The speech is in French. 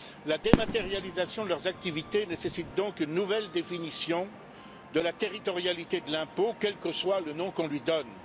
La dématérialisation de leurs activités nécessite donc une nouvelle définition de la territorialité de l'impôt, quel que soit le nom qu'on lui donne.